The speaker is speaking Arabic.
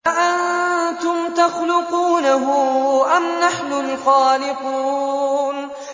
أَأَنتُمْ تَخْلُقُونَهُ أَمْ نَحْنُ الْخَالِقُونَ